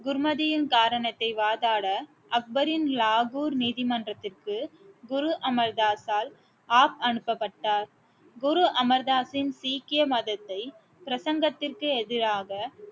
குருமதியின் காரணத்தை வாதாட அக்பரின் லாகூர் நீதிமன்றத்திற்கு குரு அமர் தாஸால் ஆப் அனுப்பப்பட்டார் குரு அமர் தாஸின் சீக்கிய மதத்தை பிரசங்கத்திற்கு எதிராக